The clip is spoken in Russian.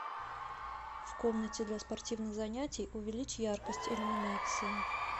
в комнате для спортивных занятий увеличь яркость иллюминации